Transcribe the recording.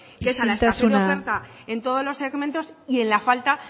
isiltasuna mesedez en todos los segmentos y en la falta